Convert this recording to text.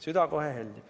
Süda kohe heldib.